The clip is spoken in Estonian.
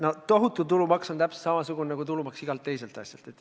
No see tohutu tulumaks on täpselt samasugune, nagu igalt teiselt asjalt makstav tulumaks.